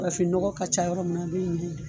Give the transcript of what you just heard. Farafin nɔgɔ ka ca yɔrɔ min na a bi ɲɛ yen nɔ